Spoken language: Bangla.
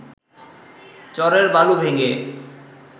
চরের বালু ভেঙে